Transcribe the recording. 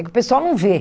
É que o pessoal não vê.